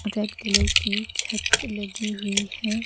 Red colour की छत लगी हुई है।